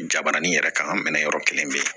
Jabarani yɛrɛ kan ka minɛ yɔrɔ kelen bɛ yen